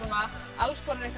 alls konar eitthvað